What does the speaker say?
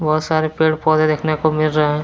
बहुत सारे पेड़ पौधे देखने को मिल रहे है।